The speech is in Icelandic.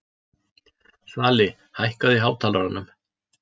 Svali, hækkaðu í hátalaranum.